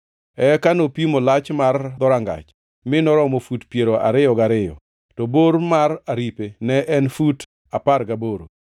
Eka nopimo lach mar kor dhorangach mi noromo fut piero ariyo gi ariyo, to bor mar aripe ne en fut apar gaboro.